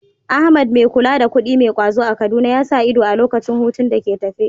Ahmad, mai kula da kuɗi mai ƙwazo a Kaduna, ya sa ido a lokacin hutun da ke tafe.